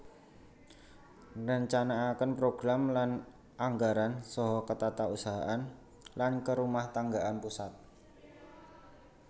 Ngrencanakaken program lan anggaran saha ketatausahaan lan kerumahtanggan pusat